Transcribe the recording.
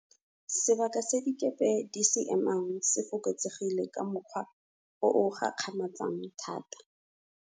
Sebaka se dikepe di se emang se fokotsegile ka mokgwa o o gakgamatsang thata.